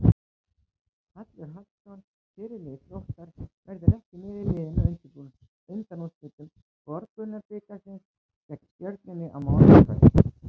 Hallur Hallsson, fyrirliði Þróttar, verður ekki með liðinu í undanúrslitum Borgunarbikarsins gegn Stjörnunni á miðvikudagskvöld.